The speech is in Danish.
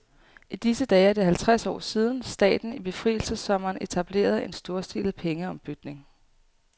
I disse dage er det halvtreds år siden, staten i befrielsessommeren etablerede en storstilet pengeombytning.